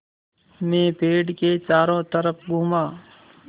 मैं पेड़ के चारों तरफ़ घूमा